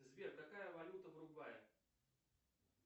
сбер какая валюта в уругвае